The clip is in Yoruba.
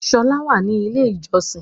Ṣọlá wà ní ilé ìjọsin.